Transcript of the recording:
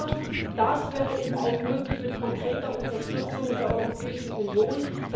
Aber das wäre eben auch möglich mit konkreter Unterstützung der Europäischen Union.